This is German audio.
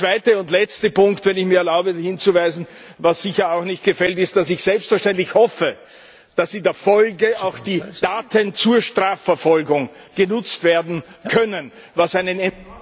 Der zweite und letzte Punkt, auf den ich mir erlaube hinzuweisen, was sicher auch nicht gefällt, ist, dass ich selbstverständlich hoffe, dass in der Folge auch die Daten zur Strafverfolgung genutzt werden können, was einen enormen Mehrwert bringt.